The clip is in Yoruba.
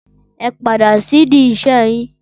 Ẹ padà sidi ìṣe yín.